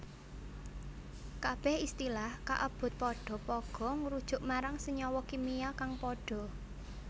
Kabeh istilah kaebut padha pagha ngrujuk marang senyawa kimia kang padha